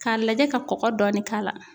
K'a lajɛ ka kɔkɔ dɔɔni k'a la